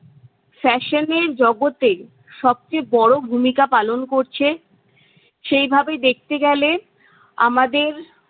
fashion এর জগতে সবচেয়ে বড় ভূমিকা পালন করছে। সেইভাবে দেখতে গেলে আমাদের-